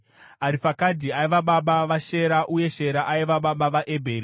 Arifakisadhi aiva baba vaShera, uye Shera aiva baba vaEbheri.